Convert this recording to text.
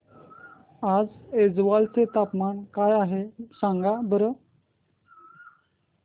आज ऐझवाल चे तापमान काय आहे सांगा बरं